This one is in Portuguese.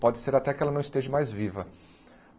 Pode ser até que ela não esteja mais viva.